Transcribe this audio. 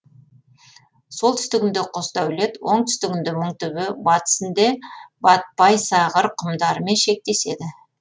солтүстігінде қосдәулет оңтүстігінде мыңтөбе батысынде батпайсағыр құмдарымен шектеседі